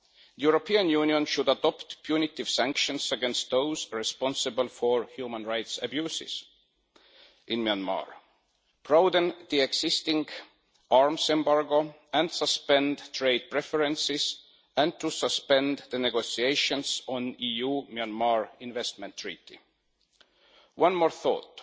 The European Union should adopt punitive sanctions against those responsible for human rights abuses in Myanmar, prolong the existing arms embargo and suspend trade preferences and the negotiations on the EU Myanmar investment treaty. One more thought